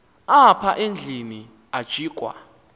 apha endlwini ajikwa